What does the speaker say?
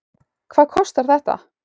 Hvað kostar þetta?